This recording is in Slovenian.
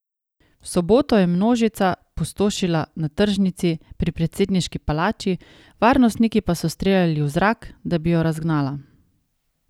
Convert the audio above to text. V soboto je množica pustošila na tržnici pri predsedniški palači, varnostniki pa so streljali v zrak, da bi jo razgnala.